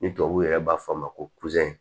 Ni tubabuw yɛrɛ b'a fɔ a ma ko